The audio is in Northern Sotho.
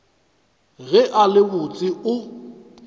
ge a le botse o